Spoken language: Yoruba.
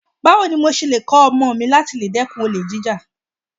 Báwo ni mo ṣe lè kọ̀ ọmọ mi láti dẹ́kun olè jíjà?